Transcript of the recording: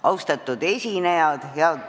Austatud esinejad!